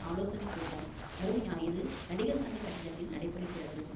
ஆலோசனை கூட்டம் வரும் ஞாயிரு நடிகர் சங்க கட்டிடத்தில் நடைபெறுகிறது